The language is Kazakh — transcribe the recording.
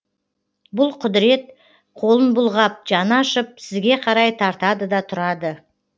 бұл құдырет қолын бұлғап жаны ашып сізге қарай тартады да тұрады